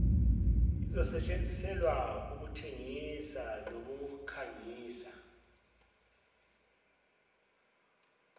izosetshenziselwa ukuthengisa nokukhangisa